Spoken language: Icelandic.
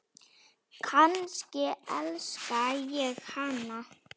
Kannski elska ég hana?